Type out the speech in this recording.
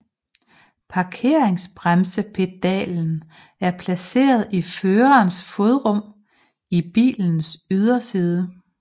Parkeringsbremsepedalen er placeret i førerens fodrum i bilens yderside